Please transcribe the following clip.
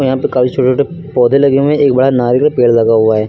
यहां पर काफी छोटे छोटे पौधे लगे हुए हैं एक बड़ा नारियल का पेड़ लगा हुआ है।